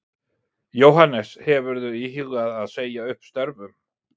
Jóhannes: Hefurðu íhugað það að segja upp störfum?